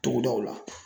Togodaw la